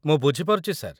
ମୁଁ ବୁଝିପାରୁଛି, ସାର୍ ।